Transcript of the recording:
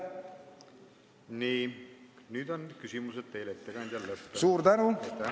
Nii, nüüd on küsimused teile, ettekandja, lõppenud.